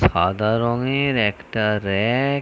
সাদা রঙের একটা র‍্যাক ।